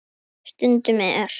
Stundum er